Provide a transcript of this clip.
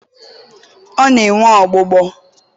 ọ na-enwe ọgbụgbọ.